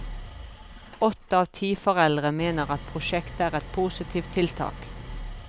Åtte av ti foreldre mener at prosjektet er et positivt tiltak.